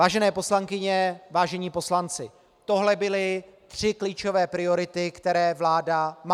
Vážené poslankyně, vážení poslanci, tohle byly tři klíčové priority, které vláda má.